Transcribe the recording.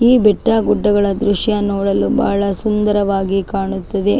ಈ ಬೆಟ್ಟ ಗುಡ್ಡಗಳ ದೃಶ್ಯ ನೋಡಲು ಬಹಳ ಸುಂದರವಾಗಿ ಕಾಣುತ್ತಿದೆ .